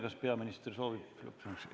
Kas peaminister soovib lõppsõna?